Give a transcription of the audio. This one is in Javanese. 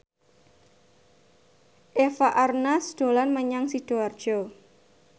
Eva Arnaz dolan menyang Sidoarjo